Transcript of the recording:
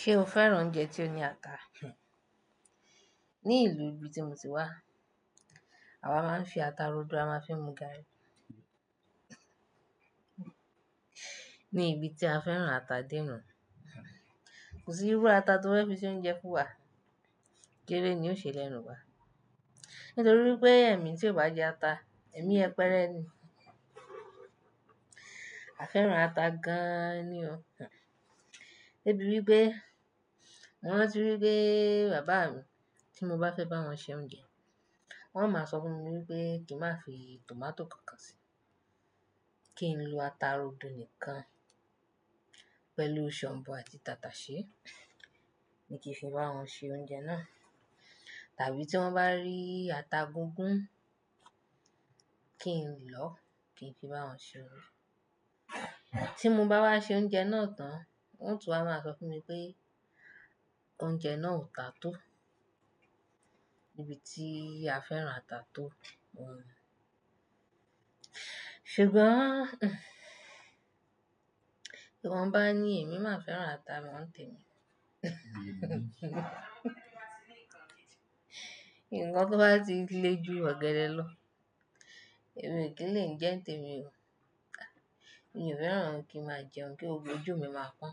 Ṣé o fẹ́ràn oúnjẹ tí ó ní ata? Ní ìlú ibi tí mo ti wá, àwa máa ń fi ata rodo a máa ń fi mu garri. Ni ibi tí a fẹ́ràn ata de nuu. Kò sí irú ata tó fé fi ṣe oúnjẹ fún wa géré ni ó ṣe lẹ́nu wa. Nítorí pé ẹ̀mí tí ò bá jẹ ata, ẹ̀mí yẹpẹ́rẹ́ ni. A fẹ́ràn ata gan-an ni ọ́. Débi wípé, mo rántí wípé bàbá mi tí mo bá fẹ́ bá wọn ṣe oúnjẹ, wọ́n máa sọ fún mi wípé kí n má fi tomato kan sí, kí n lo ata rodo nìkan pẹ̀lú shombo àti tataṣé ní kí n fi bá wọn ṣe oúnjẹ náà. Tàbí tí wọ́n bá rí ata gungún kí n lọ kí n fi bá wọn ṣe oúnjẹ. Tí mo bá wá ṣe oúnjẹ náà tán, wọ́n ó tún wá máa sọ fún mi pé oúnjẹ náà ò ta tó ibi tí a fẹ́ràn ata tó wọ́n. Ṣùgbọ́n, bí wọ́n bá ní ẹ̀mí máa fẹ́ràn ata mi wọ́n ń tan ẹ̀mí ni. Nǹkan tó bá ti lé ju ọ̀gẹ̀dẹ̀ lọ, ẹ̀mí o kì í lè jẹ n tẹmi o. Mi ò fẹ́ràn kí n má jẹun kí gbogbo ojú mi máa pọ́n,